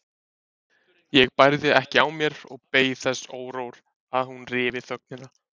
Ég bærði ekki á mér og beið þess órór að hún ryfi þögnina.